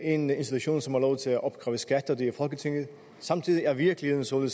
én institution som har lov til at opkræve skat og det er folketinget samtidig er virkeligheden sådan